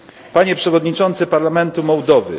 Panie Przewodniczący parlamentu Mołdowy!